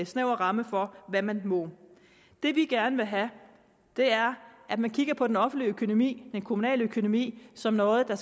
snæver ramme for hvad man må det vi gerne vil have er at man kigger på den offentlige økonomi den kommunale økonomi som noget der